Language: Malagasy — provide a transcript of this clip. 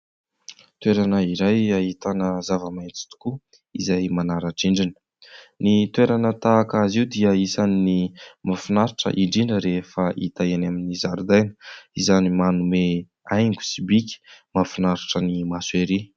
Toerana iray ahitana zava-maintso tokoa izay manara-drindrina ny toerana tahaka azy io dia isan'ny mahafinaritra indrindra rehefa hita eny amin'ny zaridaina izany manome haingo sy bika mahafinaritra ny maso ery